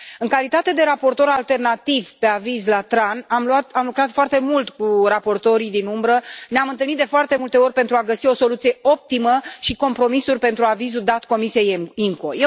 În calitate de raportor alternativ pe aviz la Comisia TRAN, am lucrat foarte mult cu raportorii din umbră, ne am întâlnit de foarte multe ori pentru a găsi o soluție optimă și compromisuri pentru avizul dat Comisiei IMCO.